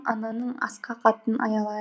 ананың асқақ атын аялайық